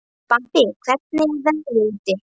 Bambi, hvernig er veðrið úti?